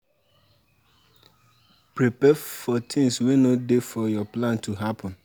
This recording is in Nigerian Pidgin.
Prepare for things wey no dey for your plan to happen